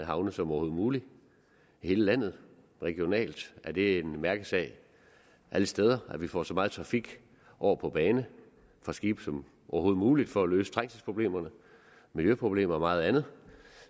havne som overhovedet muligt i hele landet regionalt er det en mærkesag alle steder at vi får så meget trafik over på bane og skibe som overhovedet muligt for at løse trængselsproblemerne miljøproblemerne og meget andet